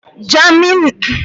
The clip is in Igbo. Jammin bụ otu n'ime egwu Bọb Mali